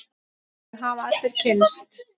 Því hafa allir kynnst.